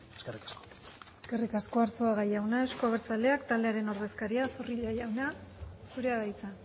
eskerrik asko eskerrik asko arzuaga jauna euzko abertzaleak taldearen ordezkaria zorrilla jauna zurea da hitza